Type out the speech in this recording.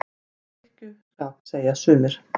Fyrir drykkju- skap, segja sumir.